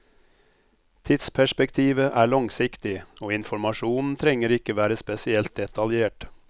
Tidsperspektivet er langsiktig, og informasjonen trenger ikke være spesielt detaljert.